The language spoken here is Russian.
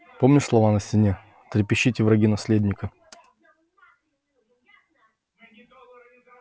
помнишь слова на стене трепещите враги наследника